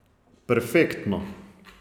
Perfektno!